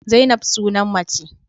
Zainab sunan mace.